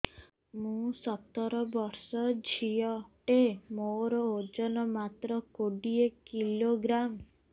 ମୁଁ ସତର ବର୍ଷ ଝିଅ ଟେ ମୋର ଓଜନ ମାତ୍ର କୋଡ଼ିଏ କିଲୋଗ୍ରାମ